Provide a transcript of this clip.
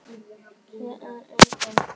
Hér er enginn.